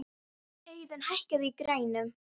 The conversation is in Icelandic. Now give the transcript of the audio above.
Auðun, hækkaðu í græjunum.